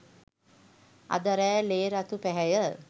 අද රෑ ලේ රතු පැහැය